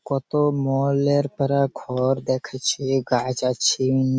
কত মলের পারা ঘর দেখেছি গাছ আছিন-ন-ন।